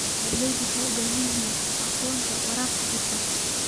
Beeralayda waxay u baahan yihiin aqoonta waraabka hufan.